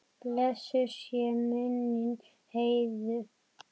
Blessuð sé minning Heiðu.